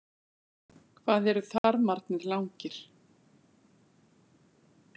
Hvað eru þarmarnir langir?